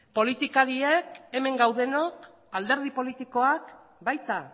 politikariek hemen gaudenok alderdi politikoak baita